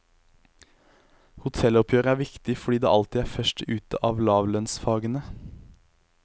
Hotelloppgjøret er viktig fordi det alltid er først ute av lavlønnsfagene.